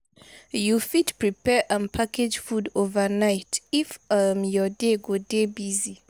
you fit prepare and package food overnight if um your day go dey busy